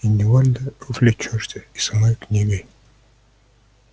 и невольно увлечёшься и самой книгой